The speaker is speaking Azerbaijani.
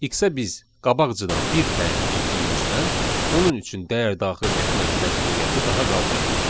X-ə biz qabaqcadan bir təyin etdiyimizdən onun üçün dəyər daxil etmək məcburiyyəti daha qalmadı.